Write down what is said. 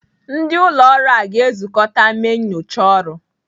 Ndị ụlọ ọrụ a ga-ezụkọta mee nnyocha ọrụ.